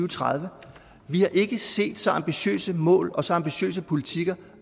tredive vi har ikke set så ambitiøse mål og så ambitiøse politikker